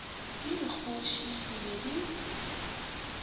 le dikgoši di be di